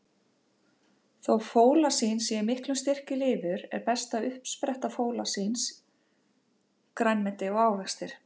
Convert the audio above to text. Þó fólasín sé í miklum styrk í lifur, er besta uppspretta fólasíns grænmeti og ávextir.